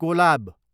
Kolab